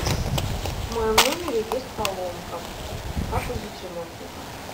в моем номере есть поломка как вызвать ремонтника